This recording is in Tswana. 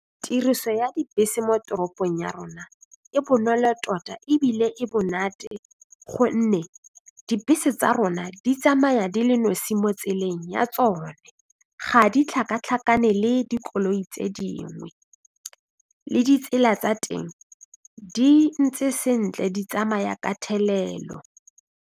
Tiriso ya dibese mo toropong ya rona e bonolo tota ebile e motate gonne dibese tsa rona di tsamaya di le nosi mo tseleng ya tsona ga di tlhakatlhakane le dikoloi tse dingwe le ditsela tsa teng di ntse sentle di tsamaya ka thelelo.